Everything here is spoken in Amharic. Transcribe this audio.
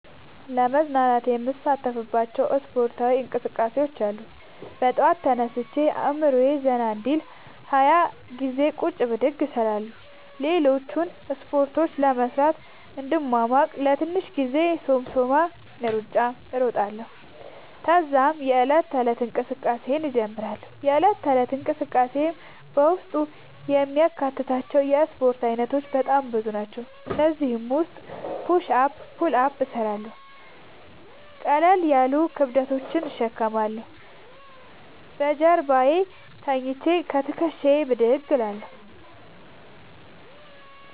ለመዝናናት የምሣተፍባቸዉ እስፖርታዊ እንቅስቃሤዎች አሉ። በጠዋት ተነስቼ አእምሮየ ዘና እንዲል 20ገዜ ቁጭ ብድግ እሰራለሁ። ሌሎችን እስፖርቶች ለመሥራት እንድሟሟቅ ለትንሽ ጊዜ የሶምሶማ እሩጫ እሮጣለሁ። ተዛም የዕለት ተለት እንቅስቃሴየን እጀምራለሁ። የእለት ተለት እንቅስቃሴየም በውስጡ የሚያካትታቸዉ የእስፖርት አይነቶች በጣም ብዙ ናቸዉ። ከእነዚህም ዉስጥ ፑሽ አፕ ፑል አፕ እሠራለሁ። ቀለል ያሉ ክብደቶችን እሸከማለሁ። በጀርባየ ተኝቸ ከትክሻየ ብድግ እላለሁ።